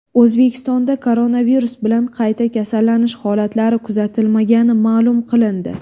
O‘zbekistonda koronavirus bilan qayta kasallanish holatlari kuzatilmagani ma’lum qilindi.